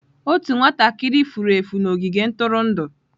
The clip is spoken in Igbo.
Otu nwatakịrị furu efu n'ogige ntụrụndụ.